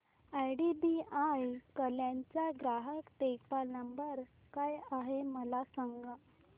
IDBI Kalyan चा ग्राहक देखभाल नंबर काय आहे मला सांगा